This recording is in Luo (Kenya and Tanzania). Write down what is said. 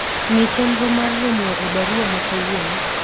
ng'i chenro mar romo e barua ma kawuono